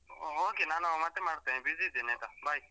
Okay ನಾನು ಮತ್ತೆ ಮಾಡ್ತೇನೆ busy ಇದ್ದೇನೆ ಆಯ್ತಾ bye.